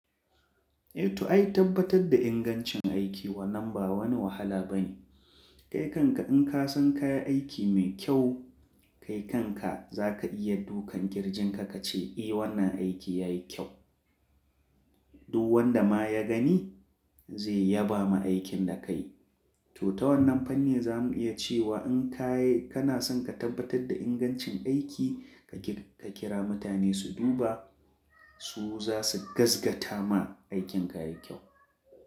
Eh to ai tabbatar da ingancin aiki wannan ba wani wahala bane. Kai kanka in ka san ka yi aiki mai kyau, kai kanka za ka iya dukan kirjinka ka ce eh wannan aiki ya yi kyau. Duk wanda ma ya gani zai yaba ma aikin da ka yi. To ta wannan fanni za mu iya ce wa in ka yi, kana son ka tabbatar da ingancin aiki ka kira mutane su duba su za su gaskata ma aikin ka yayi kyau.